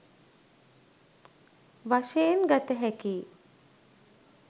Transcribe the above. වශයෙන් ගත හැකියි